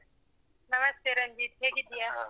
ನಮಸ್ತೇ ರಂಜಿತ್, ಹೇಗಿದ್ದೀಯಾ?